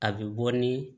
A bɛ bɔ ni